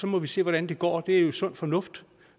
må vi se hvordan det går det er jo sund fornuft